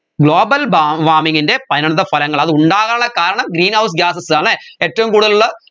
global ബ warming ൻറെ പനന്തഫലങ്ങൾ അത് ഉണ്ടാകാനുള്ള കാരണം greenhouse gases അല്ലേ ഏറ്റവും കൂടുതൽ ഉള്ള